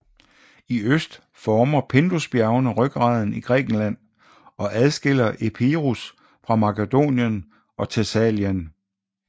I øst former Pindusbjergene ryggraden i Grækenland og adskiller Epirus fra Makedonien og Thessalien